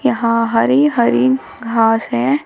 यहां हरी हरी घास है।